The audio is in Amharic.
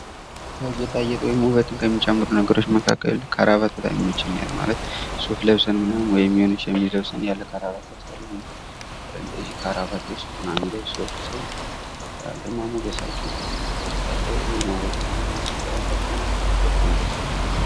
ከጌጣጌጥ ወይም ውበትን ከሚጨምሩ ነገሮች መካከል ካራባት በጣም ይመቸኛል ማለት ሱፍ ለብሰን ምናምን ወይም የሆነ ሸሚዝ ለብሰን ያለ ካራባት ያስጠላል እና እንደዚህ ካራባት በሱፍ ምናምን የሚለበሱ ሰዎችን ሳይ ግርማ ሞገሳቸው በቃ አለ አይድል የመወደድ ምናምን ነገር አላቸው እና በጣም ደስ ይሉኝ።